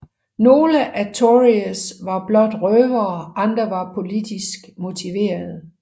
Nogle af Tories var blot røvere andre var politisk motiverede